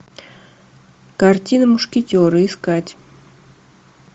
картина мушкетеры искать